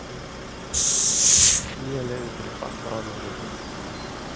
Nýjar leiðir fyrir fatlaða með netinu